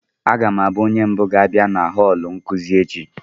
Aga m abụ onye mbụ ga-abịa na họọlụ nkuzi echi